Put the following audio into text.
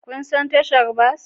Kun san tashar bas?